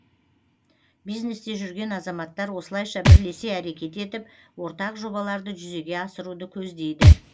бизнесте жүрген азаматтар осылайша бірлесе әрекет етіп ортақ жобаларды жүзеге асыруды көздейді